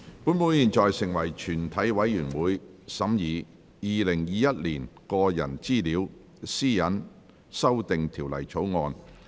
本會現在成為全體委員會，審議《2021年個人資料條例草案》。